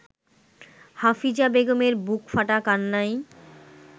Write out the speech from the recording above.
হাফিজা বেগমের বুকফাটা কান্নায়